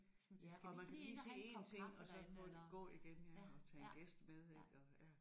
Ja og man skal lige se én ting og så gå gå igen ja eller tage en gæst med ik og ja